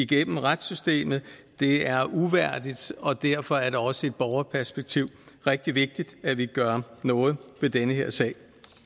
gennem retssystemet det er uværdigt og derfor er det også i et borgerperspektiv rigtig vigtigt at vi gør noget ved den her sag